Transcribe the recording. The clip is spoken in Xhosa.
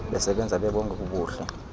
besebenza bebonke kubuhle